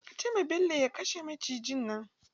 Ka ce ma Bello ya kashe macijin nan!